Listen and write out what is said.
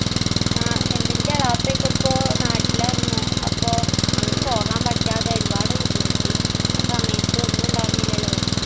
ആ എന്തെന്റെ ബാപ്പയോക്കെ അപ്പൊ നാട്ടിലാർന്നു അപ്പോ അങ്ങട് പോകാൻ പറ്റാതെ ഒരുപാടു ബുദ്ധിമുട്ടി ആ സമയത്ത് ഒന്നുണ്ടാർന്നില്ലല്ലോ